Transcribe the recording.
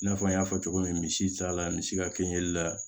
I n'a fɔ n y'a fɔ cogo min misi cayala misi ka kɛɲɛli la